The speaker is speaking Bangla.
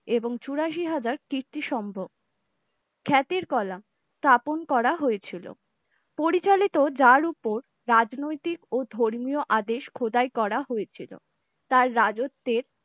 এবং চৌরাশি হাজার কীর্তি সম্ভব খ্যাতির কলা স্থাপন করা হয়েছিল। পরিচালিত যার ওপর রাজনৈতিক ও ধর্মীয় আদেশ খোদাই করা হয়েছিল। তার রাজত্বের!